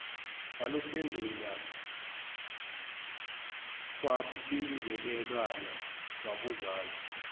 waluphendula kwabingelelwana kwabuzwana